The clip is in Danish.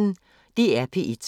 DR P1